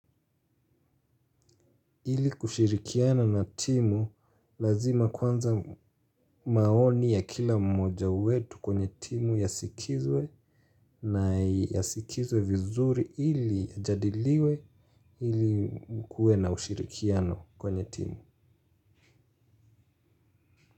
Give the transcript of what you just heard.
Hili kushirikiana na timu lazima kwanza maoni ya kila mmoja wetu kwenye timu yasikizwe na yasikizwe vizuri hili yajadiliwe hili kuwe na ushirikiano kwenye timu.